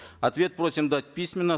ответ просим дать письменно